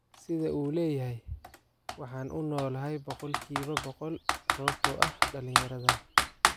Sida uu leyahay: Waxaan u noolahay boqolkiiba booqol sababtoo ah dhalinyaradan.